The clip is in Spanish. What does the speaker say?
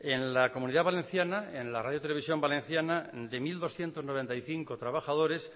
en la comunidad valenciana en la radio televisión valenciana de mil doscientos noventa y cinco trabajadores